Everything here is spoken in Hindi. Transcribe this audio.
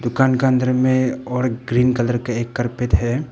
दूकान के अंदर में और ग्रीन कलर के एक कारपेट है।